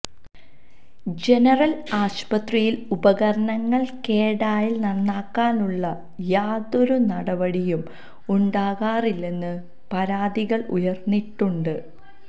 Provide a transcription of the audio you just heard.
general ആശുപത്രിയില് ഉപകരണങ്ങള് കേടായാല് നന്നാക്കാനുള്ള യാതൊരു നടപടിയും ഉണ്ടാകാറില്ലെന്നു പരാതികള് ഉയര്ന്നിട്ടുണ്ട്